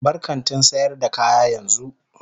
Bar kantin sayar da kaya yanzu.